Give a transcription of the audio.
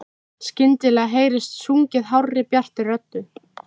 Skyndilega heyrist sungið hárri, bjartri röddu.